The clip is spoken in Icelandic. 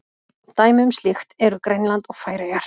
Dæmi um slíkt eru Grænland og Færeyjar.